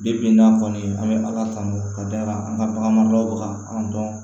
bi n'an kɔni an bɛ ala tanu ka da an ka bagan mara bɛ ka an dɔn